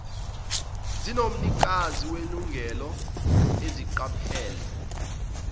zomnikazi welungelo izingqapheli